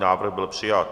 Návrh byl přijat.